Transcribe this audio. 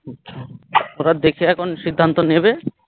ওরা দেখে এখন সিদ্ধান্ত নেবে